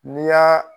N'i y'a